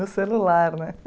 No celular, né?